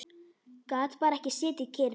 Gat bara ekki setið kyrr.